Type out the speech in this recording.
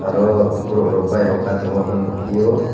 oro borok rok bike rok ka tongo bw nugphio.